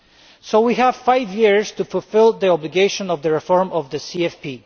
So we have five years to fulfil the obligation of the reform of the CFP.